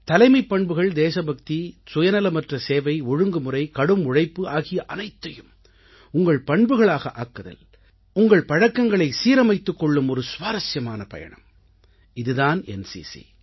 தலைமைப்பண்புகள் தேசபக்தி சுயநலமற்ற சேவை ஒழுங்குமுறை கடும் உழைப்பு ஆகிய அனைத்தையும் உங்கள் பண்புகளாக ஆக்குதல் உங்கள் பழக்கங்களை சீரமைத்துக் கொள்ளும் ஒரு சுவாரசியமான பயணம் இது தான் என்சிசி